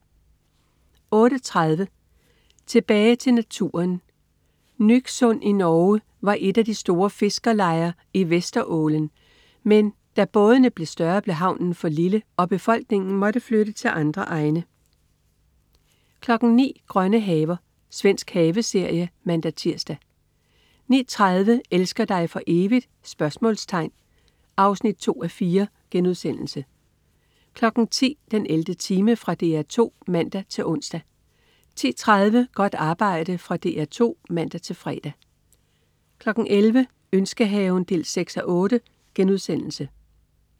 08.30 Tilbage til naturen. Nyksund i Norge var et af de store fiskerlejer i Vesterålen, men da bådene blev større, blev havnen for lille, og befolkningen måtte flytte til andre egne 09.00 Grønne haver. Svensk haveserie (man-tirs) 09.30 Elsker dig for evigt? 2:4* 10.00 den 11. time. Fra DR 2 (man-ons) 10.30 Godt arbejde. Fra DR 2 (man-fre) 11.00 Ønskehaven 6:8*